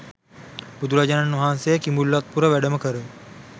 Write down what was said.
බුදුරජාණන් වහන්සේ කිඹුල්වත්පුර වැඩම කර